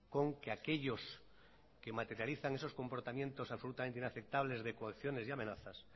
con que aquellos que materializan esos comportamientos absolutamente inaceptables de coacciones y amenazas